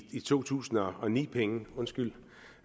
to tusind og ni penge